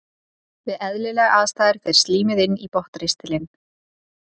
Við eðlilegar aðstæður fer slímið inn í botnristilinn.